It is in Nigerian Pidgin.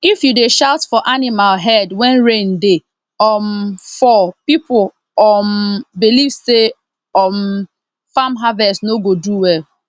if you dey shout for animal head when rain dey um fall people um believe say um farm harvest no go do wel